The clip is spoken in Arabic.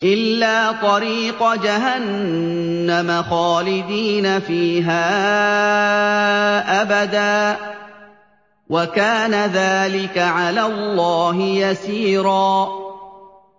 إِلَّا طَرِيقَ جَهَنَّمَ خَالِدِينَ فِيهَا أَبَدًا ۚ وَكَانَ ذَٰلِكَ عَلَى اللَّهِ يَسِيرًا